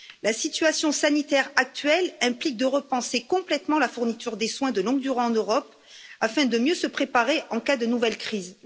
La situation sanitaire actuelle implique de repenser complètement la fourniture des soins de longue durée en Europe afin de mieux se préparer en cas de nouvelle crise.